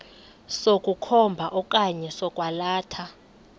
sokukhomba okanye sokwalatha